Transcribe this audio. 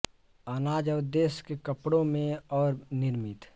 अनाज और देश के कपड़े में और निर्मित